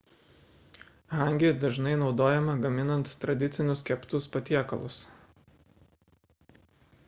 hangi dažnai naudojama gaminant tradicinius keptus patiekalus